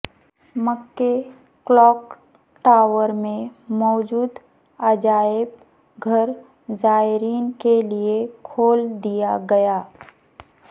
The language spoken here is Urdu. مکہ کلاک ٹاورمیں موجودعجائب گھرزائرین کے لیے کھول دیا گیا